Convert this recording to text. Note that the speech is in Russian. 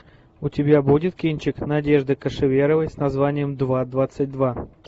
у тебя будет кинчик надежды кашеверовой с названием два двадцать два